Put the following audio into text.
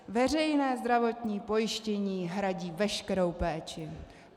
Veřejné zdravotní pojištění hradí veškerou péči.